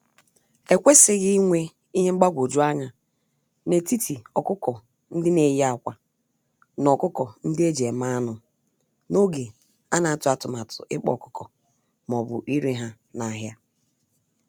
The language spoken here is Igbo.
Ekwesighi inwe Ihe mgbagwoju anya n'etiti ọkụkọ-ndị-neyi-ákwà, na ọkụkọ-ndị-eji-eme-anụ, n'oge anatụ atụmatụ ịkpa ọkụkọ m'obu ire ha n'ahịa.